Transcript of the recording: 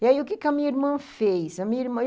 E aí o que que a minha irmã fez? A minha irmã